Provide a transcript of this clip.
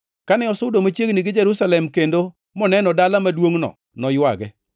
Kane osudo machiegni gi Jerusalem kendo moneno dala maduongʼno noywage,